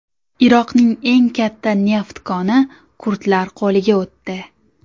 Iroqning eng katta neft koni kurdlar qo‘liga o‘tdi.